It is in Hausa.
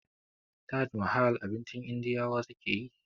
Taj mahal abincin indiyawa sukeyi